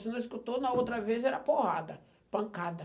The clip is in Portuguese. Se não escutou, na outra vez era porrada, pancada.